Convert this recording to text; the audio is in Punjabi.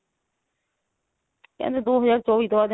ਕਹਿੰਦੇ ਦੋ ਹਜ਼ਾਰ ਚੋਵੀ ਤੋਂ ਬਾਅਦ